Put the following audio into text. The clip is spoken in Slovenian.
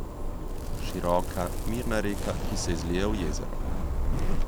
Široka, mirna reka, ki se izlije v jezero.